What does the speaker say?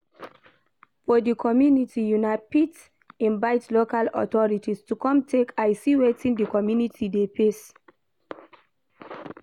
For di community una fit invite local authorities to come take eye see wetin di commumity dey face